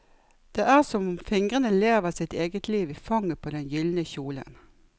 Det er som om fingrene lever sitt eget liv i fanget på den gyldne kjolen.